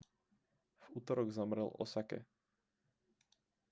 v utorok zomrel v osake